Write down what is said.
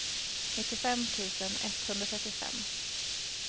nittiofem tusen etthundratrettiofem